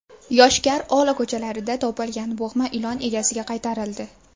Yoshkar-Ola ko‘chalarida topilgan bo‘g‘ma ilon egasiga qaytarildi.